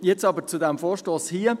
Jetzt aber zu diesem Vorstoss hier.